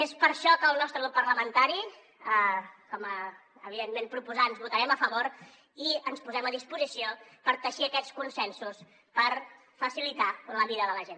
és per això que el nostre grup parlamentari com a evidentment proposants votarem a favor i ens posem a disposició per teixir aquests consensos per facilitar la vida de la gent